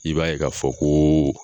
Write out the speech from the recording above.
I b'a ye k'a fɔ ko